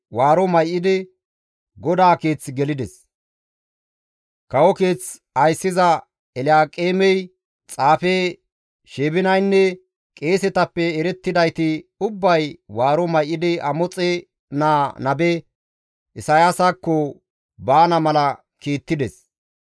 Kawo keeth ayssiza Elyaaqeemey, xaafe Sheebinaynne qeesetappe erettidayti ubbay maaqa may7idi Amoxe naa nabe Isayaasakko baana mala kiittides.